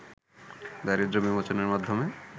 দারিদ্র্য বিমোচনের মাধ্যমে